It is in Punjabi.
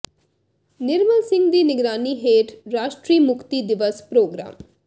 ਨਿਰਮਲ ਸਿੰਘ ਦੀ ਨਿਗਰਾਨੀ ਹੇਠ ਰਾਸ਼ਟਰੀ ਮੁਕਤੀ ਦਿਵਸ ਪ੍ਰਰੋਗਰਾਮ